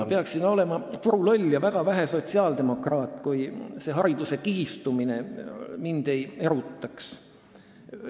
Ma peaksin olema puruloll ja väga vähe sotsiaaldemokraat, kui hariduse kihistumise teema mind ei erutaks.